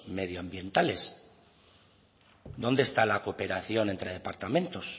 medioambientales dónde está la cooperación entre departamentos